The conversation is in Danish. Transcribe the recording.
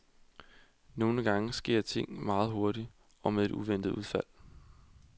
Nogle gange sker ting meget hurtigt og med et uventet udfald.